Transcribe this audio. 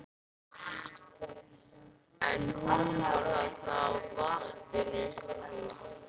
En hún var þarna á vappinu.